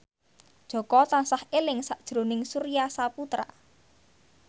Jaka tansah eling sakjroning Surya Saputra